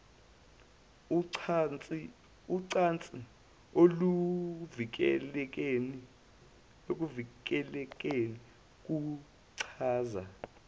ucansi oluvikelekile kuchaza